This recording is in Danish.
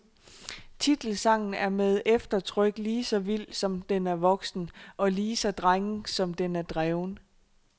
Titelsangen er med eftertryk lige så vild, som den er voksen, og lige så drenget, som den er dreven.